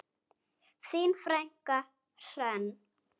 Þín frænka Hrönn.